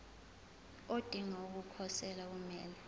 odinga ukukhosela kumele